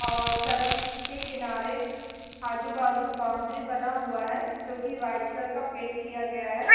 और सड़क के किनारे आजु - बाजु बाउंड्री बना हुआ है जो की वाइट कलर का पेंट किया गया है।